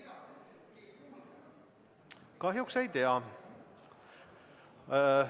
Kahjuks ei tea.